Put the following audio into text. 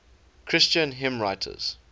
christian hymnwriters